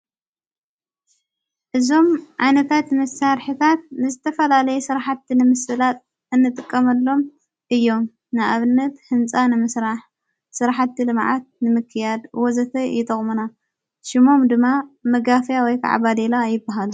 እዞም ዓነታት ምሣርሕታት ንስተፈላለይ ሥርሓቲ ንምስላጥ እንጥቀመሎም እዮም ንኣብነት ሕንፃ ንምሥራሕ ሥርሓት መዓት ንምክያድ ወዘተ ይተቕሙና ሽሞም ድማ መጋፍያ ወይዕባሌላ ይበሃል።